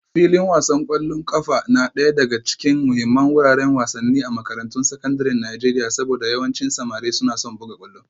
Filin wasan kwallon kafa na daya daga cikin muhimman wuraren wasanni a makarantun sakandaren Najeriya saboda yawancin samari suna son buga kwallo